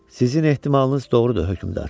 Sizin ehtimalınız doğrudur, hökmdar.